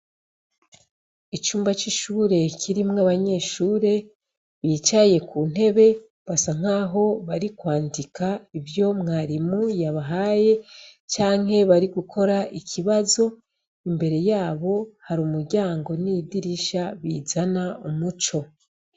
Icumba c'ishure kirimw'abanyeshure bicaye ku ntebe basa nk'aho bari kwandika ivyo mwarimu yabahaye canke bari gukora ikibazo imbere yabo hari umuryango n'idirisha bizana umuco.